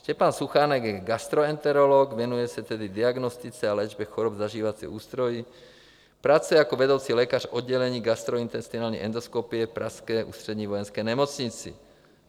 Štěpán Suchánek je gastroenterolog, věnuje se tedy diagnostice a léčbě chorob zažívacího ústrojí, pracuje jako vedoucí lékař oddělení gastrointestinální endoskopie v pražské Ústřední vojenské nemocnici.